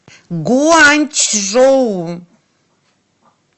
гуанчжоу